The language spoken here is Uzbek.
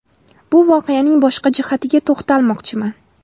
Bu voqeaning boshqa jihatiga to‘xtalmoqchiman.